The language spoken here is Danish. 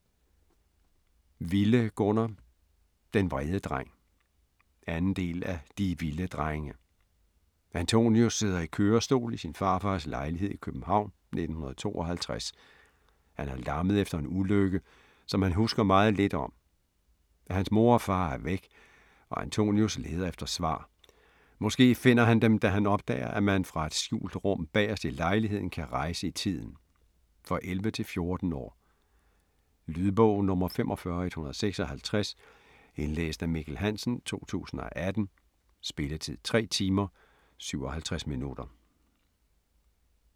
Wille, Gunnar: Den vrede dreng 2. del af De Wille drenge. Antonius sidder i kørestol i sin farfars lejlighed i København, 1952. Han er lammet efter en ulykke, som han husker meget lidt om. Hans mor og far er væk, og Antonius leder efter svar. Måske finder han dem da han opdager at man fra et skjult rum bagerst i lejligheden kan rejse i tiden. For 11-14 år. Lydbog 45156 Indlæst af Mikkel Hansen, 2018. Spilletid: 3 timer, 57 minutter.